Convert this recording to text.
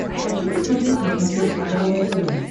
хочу посмотреть на смотрешке здоровое тв